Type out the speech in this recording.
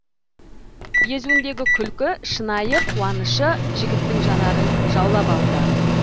езуіндегі күлкі шынайы қуанышы жігіттің жанарын жаулап алды